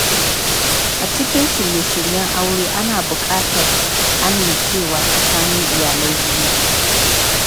A cikin shirye-shiryen aure, ana buƙatar amincewa tsakanin iyalai biyu.